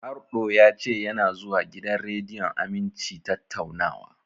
Harɗo ya ce yana zuwa gidan rediyon Aminci tattaunawa.